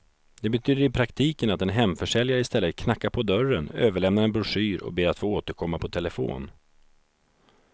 Det betyder i praktiken att en hemförsäljare i stället knackar på dörren, överlämnar en broschyr och ber att få återkomma på telefon.